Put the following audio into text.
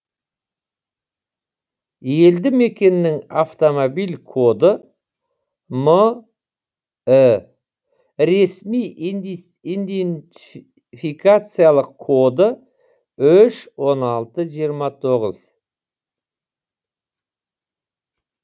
елді мекеннің автомобиль коды мі ресми идентификациялық коды үш он алты жиырма тоғыз